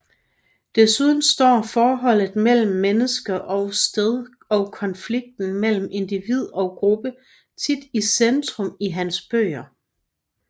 Desuden står forholdet mellem menneske og sted og konflikten mellem individ og gruppe tit i centrum i hans bøger